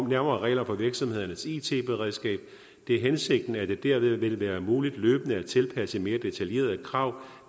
nærmere regler for virksomhedernes it beredskab det er hensigten at det derved vil være muligt løbende at tilpasse mere detaljerede krav